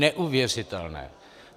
Neuvěřitelné!